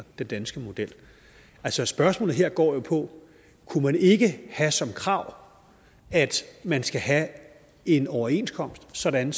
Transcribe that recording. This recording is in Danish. den danske model altså spørgsmålet her går jo på kunne vi ikke have som krav at man skal have en overenskomst sådan